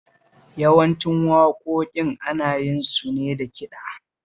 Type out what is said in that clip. Yawancin waƙoƙi ana yin su ne da kiɗa